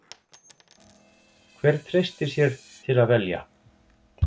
Hver treystir sér til að velja?